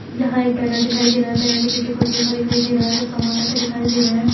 यहाँ एक बैनर दिखाई दे रहा है बैनर के पीछे कुछ लिखा दिखाई दे रहा है। कुछ सामान रखे दिखाई दे रहे हैं।